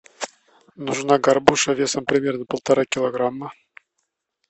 нужна горбуша весом примерно полтора килограмма